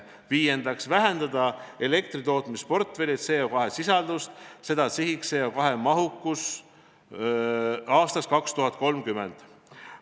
Viiendaks, vähendada elektritootmisportfelli CO2 sisaldust, seada sihiks CO2 teatud mahukus aastaks 2030.